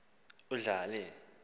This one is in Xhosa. udlale i lotto